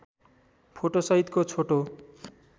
photo सहितको छोटो